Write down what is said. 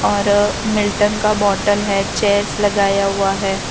और मिल्टन का बोटल है चेयर्स लगाया हुआ है।